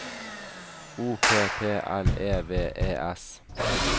O P P L E V E S